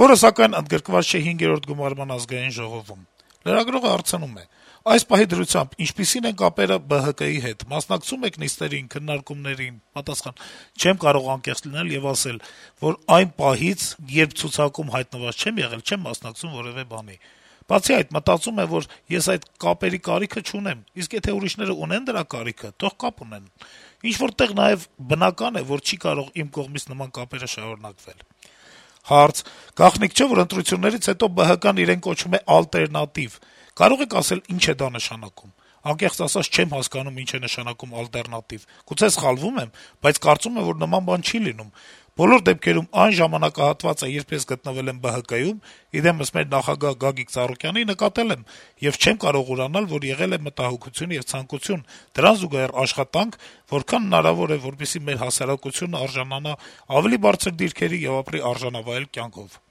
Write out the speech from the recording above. որը սակայն ընդգրկված չէ հինգերորդ գումարման ԱԺ-ում: Հարց. - «Այս պահի դրությամբ ինչպիսի՞ն են կապերը ԲՀԿ-ի հետ, մասնակցում եք նիստերին, քննարկումներին»: «Չեմ կարող անկեղծ չլինել եւ ասել, որ այն պահից, երբ ցուցակում հայտնված չեմ եղել, չեմ մասնակցում որեւէ բանի: Բացի այդ, մտածում եմ, որ ես այդ կապերի կարիքը չունեմ, իսկ եթե ուրիշները ունեն դրա կարիքը, թող կապ ունենան: Ինչ-որ նաեւ բնական է, որ չի կարող իմ կողմից նման կապերը շարունակվել», - պատասխանում է Բոստանջյանը: Հարց. - «Գաղտնիք չէ, որ ընտրություններից հետո ԲՀԿ-ն իրեն կոչում է ալտերնատիվ: Կարո՞ղ եք ասել ի՞նչ է նշանակում դա»: «Անկեղծ ասած, չեմ հասկանում` ինչ է նշանակում ալտերնատիվ, գուցե սխալվում եմ, բայց կարծում եմ, որ նման բան չի լինում: Բոլոր դեպքերում, այն ժամանակահատվածը, երբ ես գտնվել եմ ԲՀԿ-ում` իր դեմս մեր նախագահ Գագիկ Ծառուկյանի, նկատել եմ եւ չեմ կարող ուրանալ, որ եղել է մտահոգություն եւ ցանկություն, դրան զուգահեռ աշխատանք, որքան հնարավոր է, որպեսզի մեր հասարակությունը արժանանա ավելի բարձր դիրքերի եւ ապրի արժանավայել կյանքով»: